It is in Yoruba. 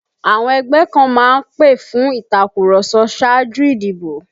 Àwọn ẹgbẹ́ kan má ń pè fún ìtàkurọ̀sọ ṣáájú ìdìbò